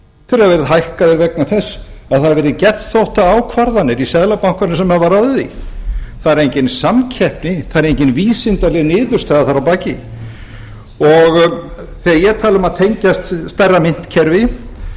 verið hækkaðir vegna þess að það hafa verið geðþóttaákvarðanir í seðlabankanum sem hafa ráðið því það er engin samkeppni það er engin vísindaleg niðurstaða þar að taki þegar ég tala um að tengjast stærra myntkerfi